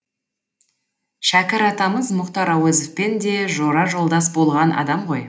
шәкір атамыз мұхтар әуезовпен де жора жолдас болған адам ғой